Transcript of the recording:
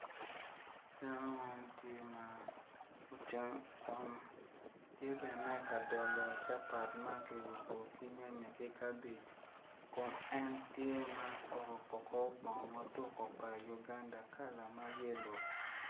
Dano man tye ma tye ka dolo capat ki nyanya ki kabej kun en tye ma oruko kor bongo tuko pa uganda kor bongo ma yelo